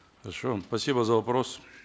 хорошо спасибо за вопрос